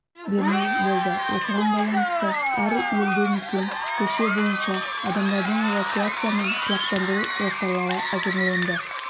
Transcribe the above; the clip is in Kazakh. бермеу болды осыған байланысты әр елді мекен көше бойынша адамдардың эвакуация мен құлақтандыру жоспарлары әзірленді